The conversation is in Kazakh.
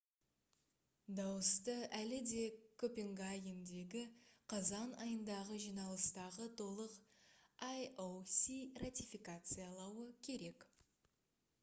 дауысты әлі де копенгагендегі қазан айындағы жиналыстағы толық ioc ратификациялауы керек